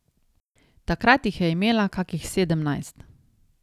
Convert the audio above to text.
Takrat jih je imela kakih sedemnajst.